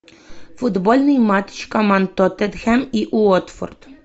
футбольный матч команд тоттенхэм и уотфорд